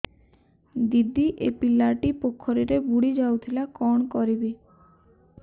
ଦିଦି ଏ ପିଲାଟି ପୋଖରୀରେ ବୁଡ଼ି ଯାଉଥିଲା କଣ କରିବି